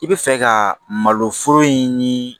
I bɛ fɛ ka maloforo in ni